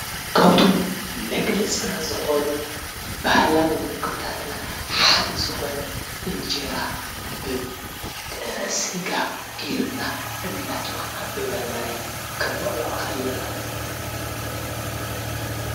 ካብቶም መግለፂና ዝኾኑ ባህላዊ ምግብታትና ሓደ ዝኮነ እንጀራ ብጥረ ስጋ ጌርና አናጥበቅና ብበርበረ ክንበልዖ ከለና ።